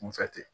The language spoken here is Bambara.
Kunfɛ ten